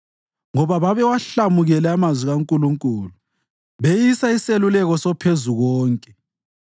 ngoba babewahlamukele amazwi kaNkulunkulu beyisa iseluleko soPhezukonke.